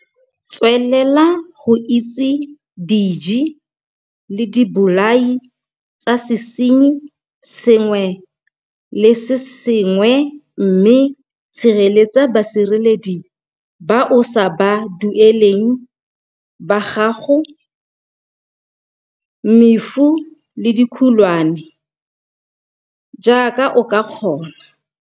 Tswelela go itse diji le dibolai tsa sesenyi se sengwe le se sengwe mme sireletsa badiredi ba o sa ba dueleng ba gago mefu le dikhukwane jaaka o ka kgona.